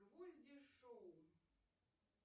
гвозди шоу